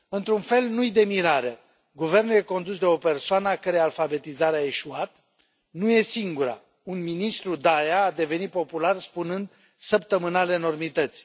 Într un fel, nu este de mirare Guvernul este condus de o persoană a cărei alfabetizare a eșuat. Nu este singura un ministru, Daea, a devenit popular spunând săptămânal enormități.